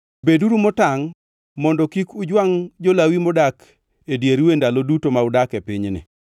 Beduru motangʼ mondo kik ujwangʼ kod jo-Lawi modak e dieru e ndalo duto ma udak e pinyni.